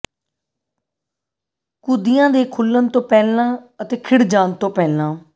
ਕੁੱਦੀਆਂ ਦੇ ਖੁੱਲਣ ਤੋਂ ਪਹਿਲਾਂ ਅਤੇ ਖਿੜ ਜਾਣ ਤੋਂ ਪਹਿਲਾਂ